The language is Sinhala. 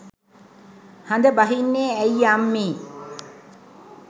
හඳ බහින්නේ ඇයි අම්මේ.